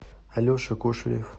алеша кошелев